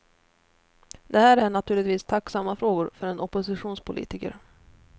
Det här är naturligtvis tacksamma frågor för en oppositionspolitiker.